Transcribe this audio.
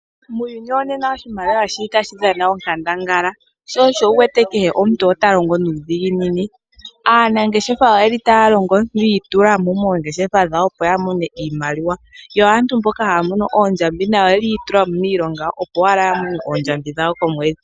Muuyuni wonena oshimaliwa osho tashi dhana onkandangala sho osho wuwete kehe omuntu otalongo nuudhiginini. Aanangeshefa otaya longo yi itula mo moongeshefa dhawo opo yi imonene iimaliwa. Aantu mboka haya mono oondjambi nayo iyi itula mo miilonga opo yamone oondjambi dhawo komwedhi.